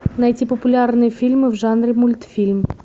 найти популярные фильмы в жанре мультфильм